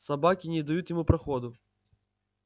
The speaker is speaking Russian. собаки не дают ему проходу